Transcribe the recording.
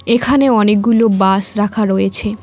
এখানে অনেকগুলো বাস রাখা রয়েছে।